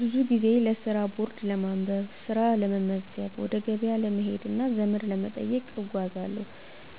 ብዙ ጊዜ ለስራ ቦርድ ለማንበብ፣ ስራ ለመመዝገብ፣ ወደ ገበያ ለመሄድ እና ዘመድ ለመጠየቅ እጓዛለሁ።